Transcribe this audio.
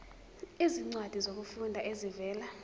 izincwadi zokufunda ezivela